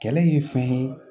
Kɛlɛ ye fɛn ye